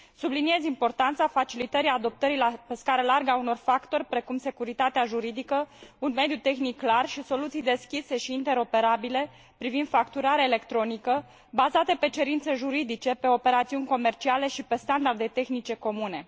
Subliniez importanța facilitării adoptării pe scară largă a unor factori precum securitatea juridică, un mediu tehnic clar și soluții deschise și interoperabile privind facturarea electronică, bazate pe cerințe juridice, pe operațiuni comerciale și pe standarde tehnice comune.